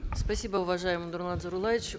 спасибо уважаемый нурлан зайроллаевич